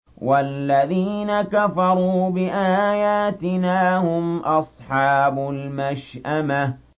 وَالَّذِينَ كَفَرُوا بِآيَاتِنَا هُمْ أَصْحَابُ الْمَشْأَمَةِ